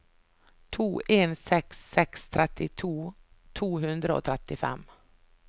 to en seks seks trettito to hundre og trettifem